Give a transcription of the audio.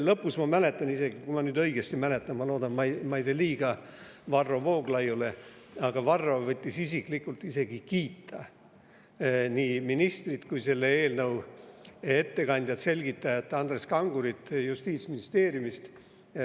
Lõpus, ma mäletan isegi – kui ma nüüd õigesti mäletan, ma loodan, et ma ei tee liiga Varro Vooglaiule –, Varro võttis isiklikult kiita nii ministrit kui ka selle eelnõu ettekandjat ja selgitajat Andreas Kangurit Justiitsministeeriumist.